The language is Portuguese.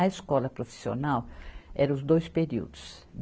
A escola profissional era os dois períodos.